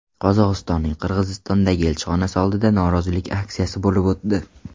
Qozog‘istonning Qirg‘izistondagi elchixonasi oldida norozilik aksiyasi bo‘lib o‘tdi.